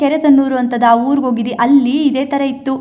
ಕೆರೆತೊಣ್ಣೂರು ಅಂತದ ಊರಿಗೆ ಹೋಗಿದ್ವಿ ಅಲ್ಲಿ ಇದೆ ತರ ಇತ್ತು.